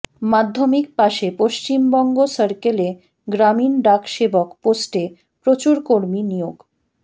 মাধ্যমিক পাশে পশ্চিমবঙ্গ সার্কেলে গ্রামীণ ডাক সেবক পোস্টে প্রচুর কর্মী নিয়োগ